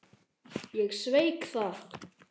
Ég sveik það.